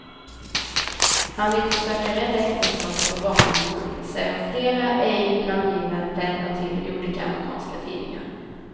Han vill försöka rädda äktenskapet för barnens skull, säger flera ej namngivna vänner till olika amerikanska tidningar.